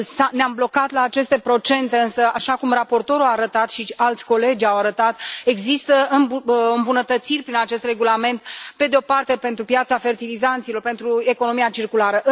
Ne am blocat la aceste procente, însă, așa cum raportorul a arătat și alți colegi au arătat, există îmbunătățiri prin acest regulament pentru piața fertilizanților, pentru economia circulară.